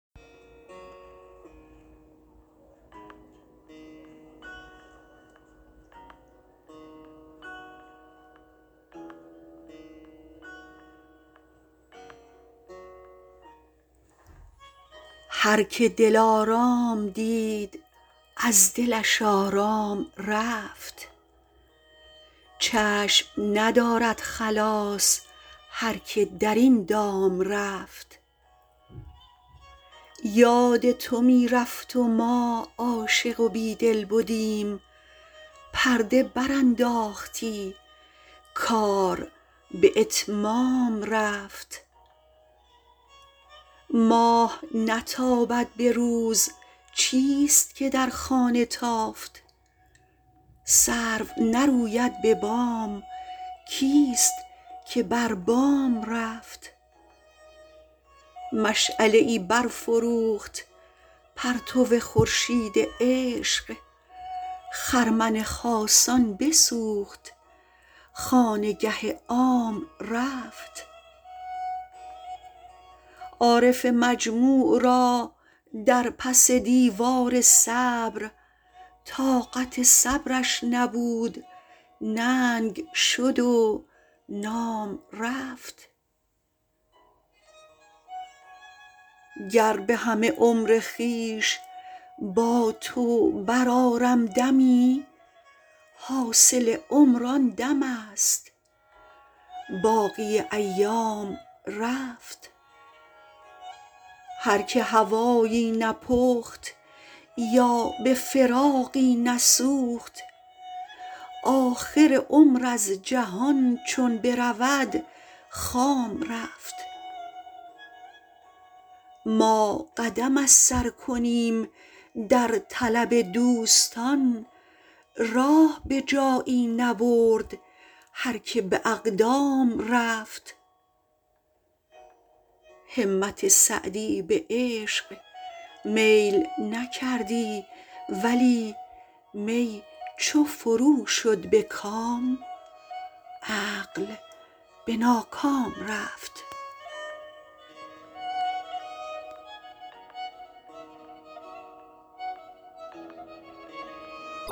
هر که دلارام دید از دلش آرام رفت چشم ندارد خلاص هر که در این دام رفت یاد تو می رفت و ما عاشق و بیدل بدیم پرده برانداختی کار به اتمام رفت ماه نتابد به روز چیست که در خانه تافت سرو نروید به بام کیست که بر بام رفت مشعله ای برفروخت پرتو خورشید عشق خرمن خاصان بسوخت خانگه عام رفت عارف مجموع را در پس دیوار صبر طاقت صبرش نبود ننگ شد و نام رفت گر به همه عمر خویش با تو برآرم دمی حاصل عمر آن دمست باقی ایام رفت هر که هوایی نپخت یا به فراقی نسوخت آخر عمر از جهان چون برود خام رفت ما قدم از سر کنیم در طلب دوستان راه به جایی نبرد هر که به اقدام رفت همت سعدی به عشق میل نکردی ولی می چو فرو شد به کام عقل به ناکام رفت